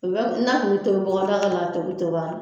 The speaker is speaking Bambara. O bɛɛ kun na kun bi tobi bɔgɔdaga la to bi tobi ala